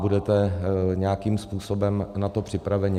Budete nějakým způsobem na to připraveni?